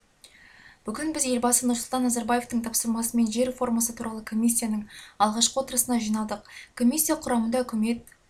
бүгін біз елбасы нұрсұлтан назарбаевтың тапсырмасымен жер реформасы туралы комиссияның алғашқы отырысына жиналдық комиссия құрамында үкімет